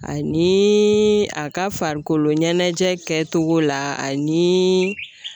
Anii a ka farikolo ɲɛnajɛ kɛcogo la anii i